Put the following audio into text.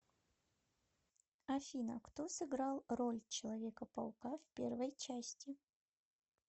афина кто сыграл роль человека паука в первой части